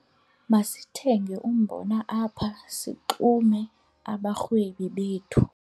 Masithenge umbona apha sixume abarhwebi bethu.